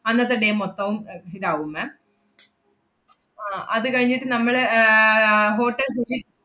അന്നത്തെ day മൊത്തവും അഹ് ഇതാവും ma'am ആഹ് അത് കഴിഞ്ഞിട്ട് നമ്മള് ഏർ Hotel Ruchi